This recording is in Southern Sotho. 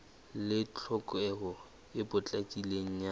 le tlhokeho e potlakileng ya